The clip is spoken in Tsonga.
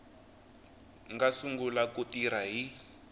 nga sungula ku tirha hi